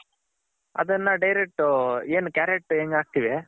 ಅದನ್ನ Direct ಏನ್ carrot ಹೆಂಗ್ ಹಾಕ್ತಿವಿ.